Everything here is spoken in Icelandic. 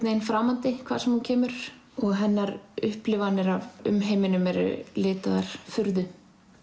veginn framandi hvar sem hún kemur og hennar upplifanir af umheiminum eru litaðar furðu